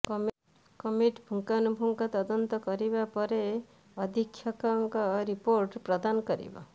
committee ପୁଙ୍ଖାନୁପୁଙ୍ଖ ତଦନ୍ତ କରିବା ପରେ ଅଧୀକ୍ଷକଙ୍କୁ ରିପୋର୍ଟ ପ୍ରଦାନ କରିବ